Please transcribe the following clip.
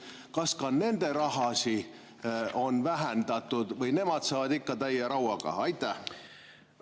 Kas ka nende rahasid on vähendatud või nemad saavad ikka täie?